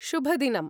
शुभदिनम्!